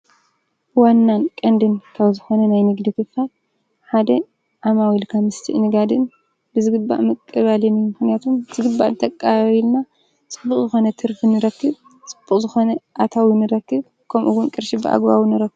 ንግዲ ዓማዊል ብግቡእ ምስትእንጋድ ኣዝዩ ወሳኒ ኮይኑ እዚ ምስሊ ከዓ ጥዋፍ እንዳ ሸጣ ይርከባ።